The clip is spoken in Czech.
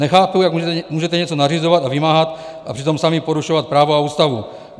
Nechápu, jak můžete něco nařizovat a vymáhat a přitom sami porušovat právo a Ústavu.